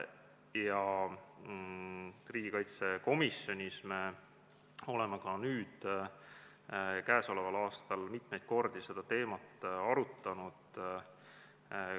Me oleme nüüd sellel aastal ka riigikaitsekomisjonis mitmeid kordi seda teemat arutanud.